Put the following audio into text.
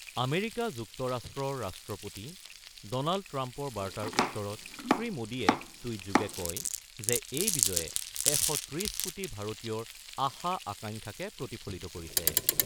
America যুক্তৰাষ্ট্ৰৰ ৰাষ্ট্ৰপতি Donald ট্ৰাম্পৰ বাৰ্তাৰ উত্তৰত শ্ৰীমোদীয়ে টুইটযোগে কয় যে, এই বিজয়ে ১৩০ কোটি ভাৰতীয়ৰ আশা-আকাংক্ষাকে প্ৰতিফলিত কৰিছে।